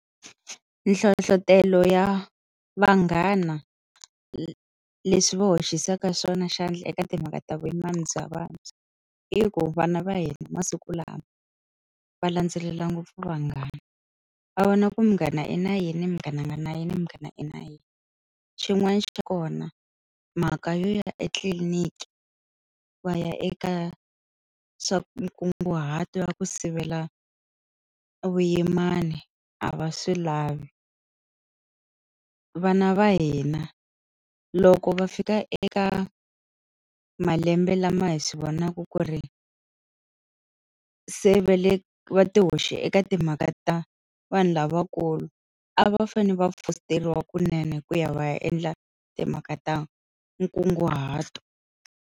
Nhlohletelo ya vanghana leswi va hoxisaka swona xandla eka timhaka ta vuyimana bya vantshwa, i ku vana va hina masiku lawa va landzelela ngopfu vanghana. Va vona ku munghana i na yini, munghana a nga na yini, munghana i na yini. Xin'wana xa kona, mhaka yo ya etliliniki va ya eka swa nkunguhato wa ku sivela vuyimana a va swi lavi. Vana va hina loko va fika eka malembe lama hi swi vonaka ku ri se va le va ti hoxe eka timhaka ta vanhu lavakulu a va fanele va fosteriwa kunene ku ya va ya endla timhaka ta nkunguhato.